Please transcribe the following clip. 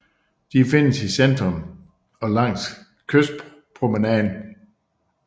De findes i centrum og langs kystpromenaden